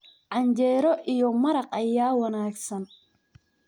Canjeero iyo maraqa ayaa wanaagsan.